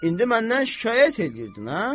İndi məndən şikayət eləyirdin, hə?